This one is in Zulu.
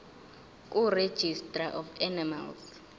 kuregistrar of animals